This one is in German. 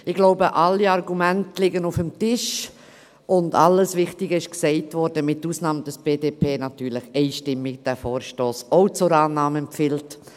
Ich glaube, es liegen alle Argumente auf dem Tisch, und alles Wichtige wurde gesagt, mit Ausnahme, dass die BDP diesen Vorstoss natürlich einstimmig ebenfalls zur Annahme empfiehlt.